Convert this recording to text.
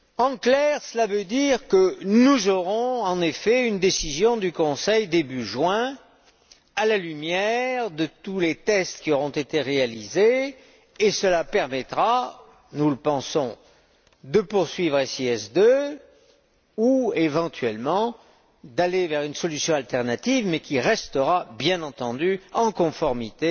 En clair, cela veut dire que nous aurons, en effet, une décision du Conseil début juin, à la lumière de tous les tests qui auront été réalisés, et cela permettra, nous le pensons, de poursuivre SIS II ou, éventuellement, d'aller vers une solution alternative mais qui restera, bien entendu, en conformité